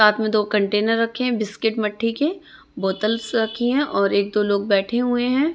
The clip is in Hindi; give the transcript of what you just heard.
साथ में दो कंटेनर रखें है बिस्किट मठ्ठी के बोतल्स रखी हैं और एक दो लोग बैठे हुए हैं।